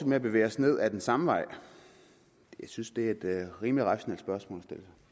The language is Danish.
med at bevæge os ned af den samme vej jeg synes det er et rimelig rationelt spørgsmål